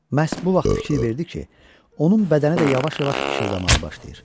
Məhz bu vaxt fikir verdi ki, onun bədəni də yavaş-yavaş işıldamağa başlayır.